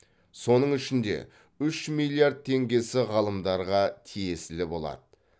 соның ішінде үш миллиард теңгесі ғалымдарға тиесілі болады